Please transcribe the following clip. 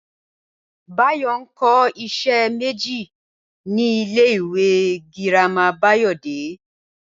Báyò̩ ń ko̩ is̩é̩ méjì ní ilé ìwé girama Báyò̩dé